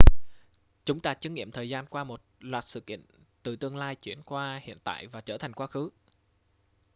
chúng ta chứng nghiệm thời gian qua một loạt sự kiện từ tương lai chuyển qua hiện tại và trở thành quá khứ